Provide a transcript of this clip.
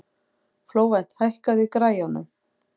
Flóvent, hækkaðu í græjunum.